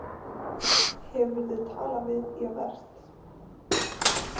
Hefurðu talað við Javert?